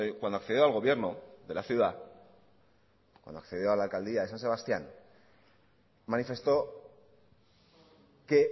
cuando accedió al gobierno de la ciudad cuando accedió a la alcaldía de san sebastián manifestó que